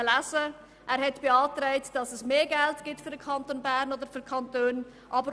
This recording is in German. Der Regierungsrat hat beantragt, dass es für den Kanton Bern oder die Kantone mehr Geld gibt.